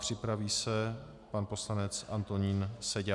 Připraví se pan poslanec Antonín Seďa.